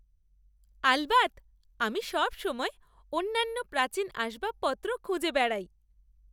আলবাত! আমি সবসময় অনন্য প্রাচীন আসবাবপত্র খুঁজে বেড়াই।